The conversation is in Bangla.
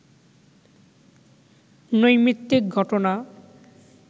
নৈমিত্তিক ঘটনা